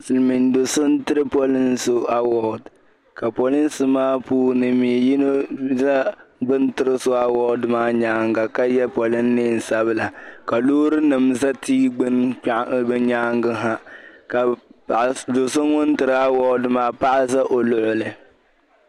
silimiin do' so n-tiri poliŋ' so awɔdi ka polinsi maa puuni mi yino za bɛ ni tiri so awɔdi maa nyaaŋga ka ye polin' neen' sabila ka loorinima za tia gbuni bɛ nyaaŋga ha ka do' so ŋun tiri awɔdi maa paɣa za o luɣili